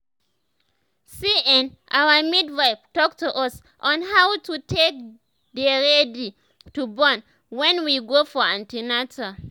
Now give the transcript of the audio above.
see[um]our midwife talk to us on how to how to take dey ready to born wen we go for an ten atal